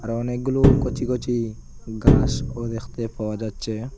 আর অনেকগুলো কচি কচি ঘাসও দেখতে পাওয়া যাচ্ছে।